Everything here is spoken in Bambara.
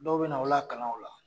Dɔw bɛ na aw lakalan o la.